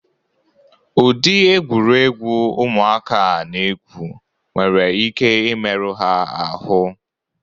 Udi egwuregwu ụmụaka a na-egwu nwere ike imeru ha ahụ